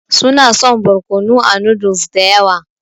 Su na son barkonu a noodles da yawa.